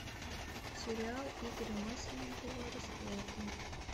сериал игоря масленникова расплата